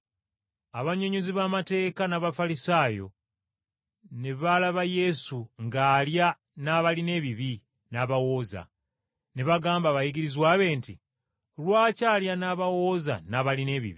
abannyonnyozi b’amateeka n’Abafalisaayo ne baalaba Yesu ng’alya n’abalina ebibi n’abawooza, ne bagamba abayigirizwa be nti, “Lwaki alya n’abawooza n’abalina ebibi?”